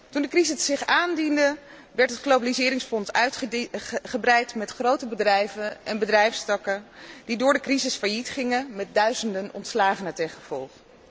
Toen de crisis zich aandiende werd het globaliseringsfonds uitgebreid tot grote bedrijven en bedrijfstakken die door de crisis failliet gingen, met duizenden ontslagen ten gevolge.